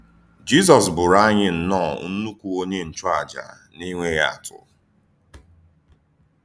Jízọs bụ̀rù ànyí nnọọ Nnukwu Ònyé Nchùàjà na-enwèghị àtụ́!